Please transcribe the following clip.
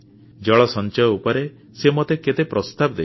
ଜନ ସଞ୍ଚୟ ଉପରେ ସିଏ ମୋତେ କେତେ ପ୍ରସ୍ତାବ ଦେଇଛନ୍ତି